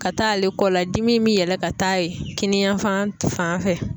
Ka taa ale kɔ la dimi bi yɛlɛ ka taa yen kininyanfan fan fɛ.